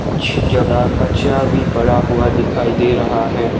कुछ जगह कचरा भी पड़ा हुआ दिखाई दे रहा है।